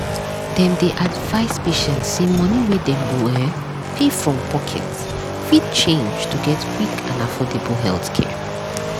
dem dey advise patients say money wey dem go um pay from pocket fit change to get quick and affordable healthcare.